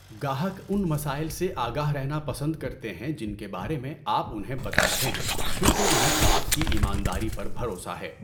گاہک ان مسائل سے آگاہ رہنا پسند کرتے ہیں جن کے بارے میں آپ انھیں بتا رہے ہیں کیونکہ انھیں آپ کی ایمانداری پر بھروسا ہے۔